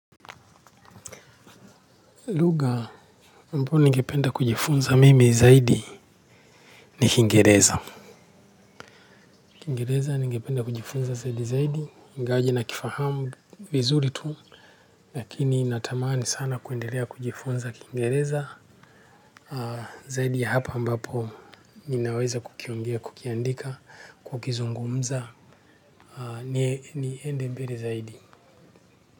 Luga ambao ningependa kujifunza mimi zaidi ni kingereza. Kingereza, nigependa kujifunza zaidi zaidi, ingawaji na kifahamu vizuri tu. Lakini natamani sana kuendelea kujifunza kingereza zaidi ya hapa ambapo ninaweza kukiongea, kukiandika, kukizungumza, niende mbele zaidi.